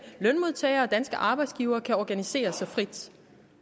lønmodtagere og danske arbejdsgivere kan organisere sig frit